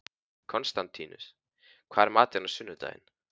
Konstantínus, hvað er í matinn á sunnudaginn?